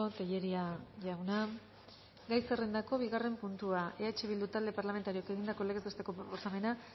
tellería jauna gai zerrendako bigarren puntua eh bildu talde parlamentarioak egindako legez besteko proposamena